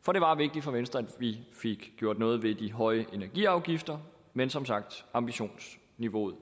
for det var vigtigt for venstre at vi fik gjort noget ved de høje energiafgifter men som sagt ambitionsniveauet